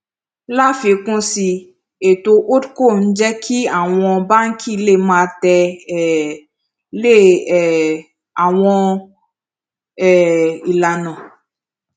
láfikún sí i ètò holdco ń jẹ kí àwọn báńkì lè máa tè um lé um àwọn um ìlànà